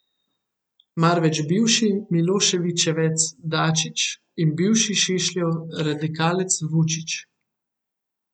Marveč bivši miloševićevec Dačić in bivši Šešljev radikalec Vučić.